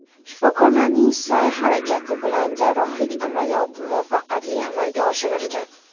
Shifokorlarning sa’y-harakati bilan jarrohlik amaliyoti muvaffaqiyatli amalga oshirilgan.